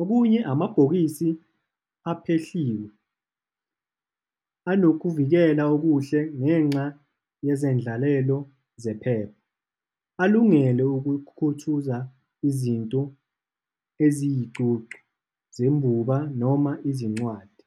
Okunye, amabhokisi aphehliwe. Anokuvikela okuhle ngenxa yezendlalelo zephepha. Alungele ukukhuthuza izinto eziy'cucu zebumba noma izincwadi.